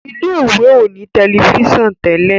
ilé ìwé o ní Tẹlifíṣàn Tẹlẹ.